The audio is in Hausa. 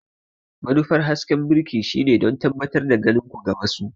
Manufar hasken birki shine don tabbatar da ganin ku ga wasu.